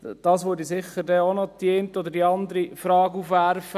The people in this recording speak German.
– Das würde sicher die eine oder andere Frage aufwerfen.